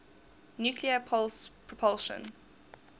nuclear pulse propulsion